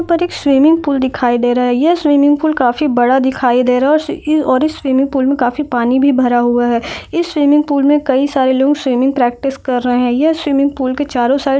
ऊपर एक swimming pool दिखाई दे रहा है इस स्विमिंग पुल काफी बड़ा दिखाया दे रहा है और इस स्विमिंग पुल मे काफी पानी भी भरा हुआ हैये स्विमिंग पुल पर काफी सारे लोग प्रैक्टिस भी कर रहे हैं ये स्विमिंग पुल के चारो साइड ---